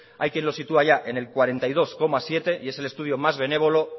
hay quien lo sitúa ya en el cuarenta y dos coma siete por ciento y es el estudio más benévolo